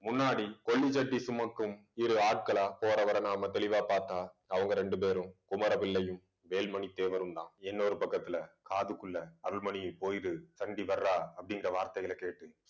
முன்னாடி கொள்ளி சட்டி சுமக்கும், இரு ஆட்களா போறவரை நாம தெளிவா பாத்தா அவங்க ரெண்டு பேரும், குமர பிள்ளையும் வேல்மணி தேவரும்தான். இன்னொரு பக்கத்துல காதுக்குள்ள அருள்மணி போயிடு சண்டி வர்றா அப்படிங்கிற வார்த்தைகளை கேட்டு